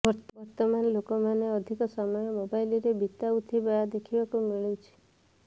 ବର୍ତ୍ତମାନ ଲୋକମାନେ ଅଧିକ ସମୟ ମୋବାଇଲରେ ବିତାଉଥିବା ଦେଖିବାକୁ ମିଳୁଛି